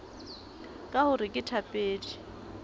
ka ho re ke thapedi